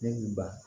Ne ba